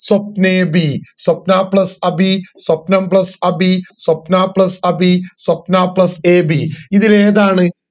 സ്വപ്നേഭി Swapna plus Abhi സ്വപ്നം plus അഭി Swapna plus അഭി Swapna plus ഏഭി ഇതിലേതാണ്